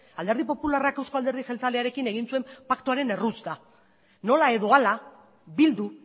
alderdi popularrak euzko alderdi jeltzalearekin egin zuen paktuaren erruz da nola edo hala bildu